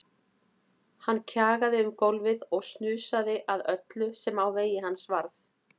Hann kjagaði um gólfið og snusaði að öllu sem á vegi hans varð.